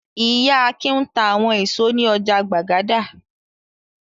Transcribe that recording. Ìyá Akin ń ta àwọn ìṣó ní ọjà Gbàgádà.